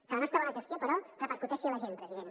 que la nostra bona gestió però repercuteixi en la gent president